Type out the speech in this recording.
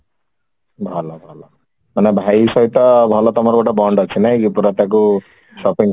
ଭଲ ଭଲ ମାନେ ଭାଇ ସହିତ ଭଲ ତମର ଗୋଟେ bond ଅଛି ନାଇକି ପୁରା ତାକୁ shopping କରଉଛ